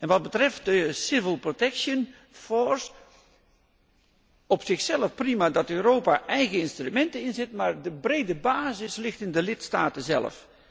Wat betreft de civil protection force op zichzelf is het prima dat Europa eigen instrumenten inzet, maar de brede basis ligt in de lidstaten zelf.